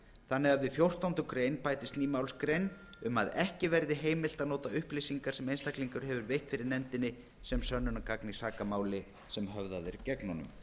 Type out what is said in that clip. þannig að við fjórtándu greinar bætist ný málsgrein um að ekki verði heimilt að nota upplýsingar sem einstaklingur hefur veitt fyrir nefndinni sem sönnunargagn í sakamáli sem höfðað er gegn honum